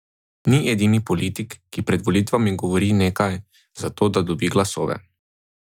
Ni edini politik, ki pred volitvami govori nekaj, za to, da dobi glasove.